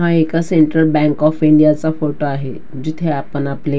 हा एका Central Bank of India चा फोटो आहे जिथे आपण आपले--